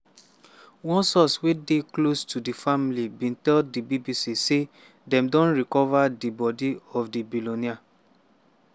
one source wey dey close to di family bin tell di bbc say dem don recova di bodi of di billionaire.